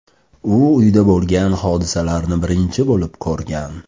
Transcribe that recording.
U uyda bo‘lgan hodisalarni birinchi bo‘lib ko‘rgan.